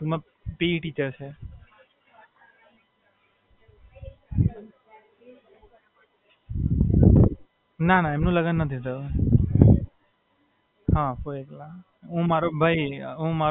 ફોઇ school માં જાય ને ફોઇ school માં ટીચર છે. PT teacher છે.